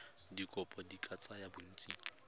dikopo di ka tsaya bontsi